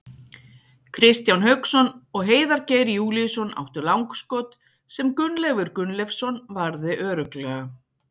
Kristján Hauksson og Heiðar Geir Júlíusson áttu langskot, sem Gunnleifur Gunnleifsson varði örugglega.